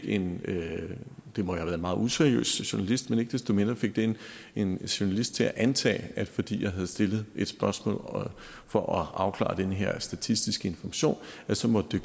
en meget useriøs journalist men ikke desto mindre fik det en journalist til at antage at fordi jeg havde stillet et spørgsmål for at afklare den her statistiske information så måtte